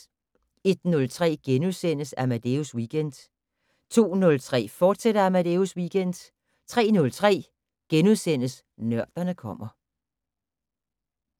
01:03: Amadeus Weekend * 02:03: Amadeus Weekend, fortsat 03:03: Nørderne kommer *